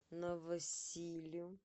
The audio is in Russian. новосилю